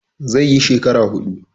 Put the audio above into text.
He will spend four years.